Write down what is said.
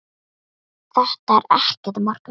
Þetta er ekkert að marka.